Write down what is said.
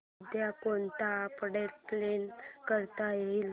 उद्या कोणतं update plan करता येईल